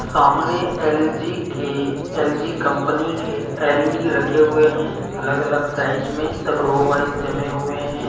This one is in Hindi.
सामने एलजी के एलजी कंपनी के एलइडी रखे हुए है अलग अलग साइज सब रो वाइज जमे हुए हैं।